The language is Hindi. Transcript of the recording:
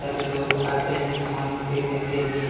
सारे लोग आते हैं समान खरीदने के लिए--